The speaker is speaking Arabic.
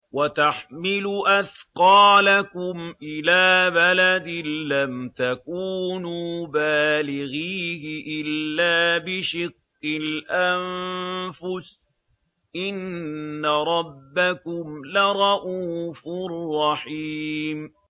وَتَحْمِلُ أَثْقَالَكُمْ إِلَىٰ بَلَدٍ لَّمْ تَكُونُوا بَالِغِيهِ إِلَّا بِشِقِّ الْأَنفُسِ ۚ إِنَّ رَبَّكُمْ لَرَءُوفٌ رَّحِيمٌ